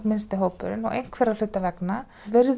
minnsti hópurinn og einhverra hluta vegna